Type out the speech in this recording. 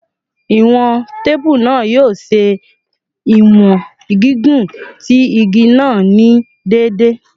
Iwọn teepu naa yoo ṣe iwọn gigun ti igi naa ni deede